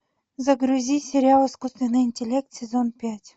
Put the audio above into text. загрузи сериал искусственный интеллект сезон пять